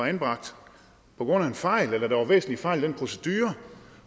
anbragt på grund af en fejl eller at der har været væsentlige fejl i en procedure